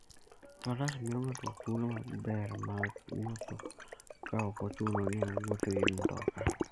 Faras miyo ng'ato thuolo maber mar wuotho ka ok ochuno ni owuoth gi mtoka.